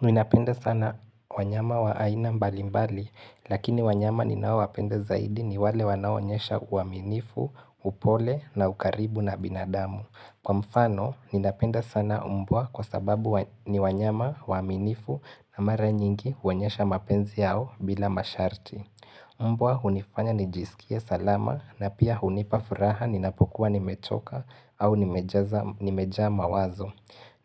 Ninapenda sana wanyama wa aina mbali mbali, lakini wanyama ninao wapenda zaidi ni wale wanaoonyesha uaminifu, upole na ukaribu na binadamu. Kwa mfano, ninapenda sana umbwa kwa sababu ni wanyama waaminifu na mara nyingi huonyesha mapenzi yao bila masharti. Umbwa hunifanya nijisikie salama na pia hunipa furaha ninapokuwa nimechoka au nimejaa mawazo.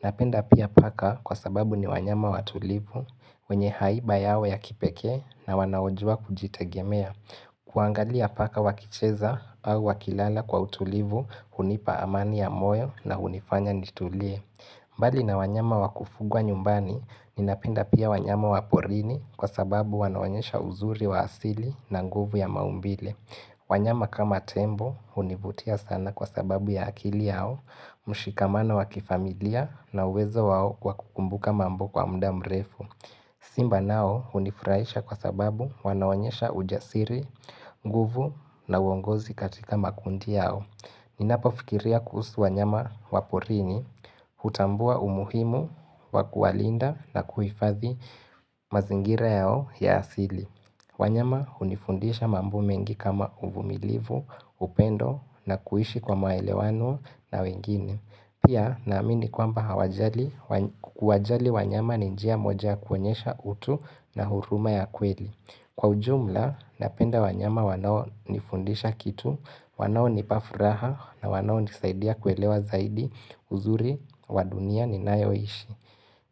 Napenda pia paka kwa sababu ni wanyama watulivu wenye haiba yao ya kipekee na wanaojua kujitegemea. Kuangalia paka wakicheza au wakilala kwa utulivu hunipa amani ya moyo na unifanya nitulie. Mbali na wanyama wa kufugwa nyumbani, ninapenda pia wanyama wa porini kwa sababu wanaonyesha uzuri wa asili na nguvu ya maumbile. Wanyama kama tembo hunivutia sana kwa sababu ya akili yao, mshikamano wa kifamilia na uwezo wao kwa kukumbuka mambo kwa mda mrefu. Simba nao unifraisha kwa sababu wanaonyesha ujasiri, nguvu na uongozi katika makundi yao. Ninapofikiria kuhusu wanyama waporini, hutambua umuhimu, wa kuwalinda na kuhifadhi mazingira yao ya asili wanyama hunifundisha mambo mengi kama uvumilivu, upendo na kuishi kwa maelewano na wengine. Pia naamini kwamba hawajali kuwajali wanyama ni njia moja kuonyesha utu na huruma ya kweli. Kwa ujumla, napenda wanyama wanao nifundisha kitu, wanaonipa furaha na wanaonisaidia kuelewa zaidi uzuri wa dunia ninayoishi.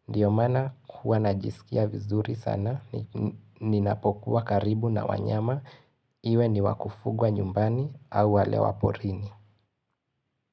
Ndio maana huwa najisikia vizuri sana, ninapokuwa karibu na wanyama, iwe ni wa kufugwa nyumbani au wale waporini.